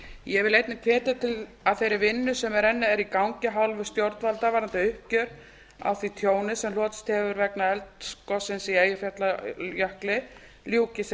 ég vil einnig hvetja til að þeirri vinnu sem enn er í gangi af hálfu stjórnvalda varðandi uppgjör á því tjóni sem hlotist hefur vegna eldgossins í eyjafjallajökli ljúki sem